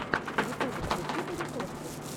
в ютубе включи баритошку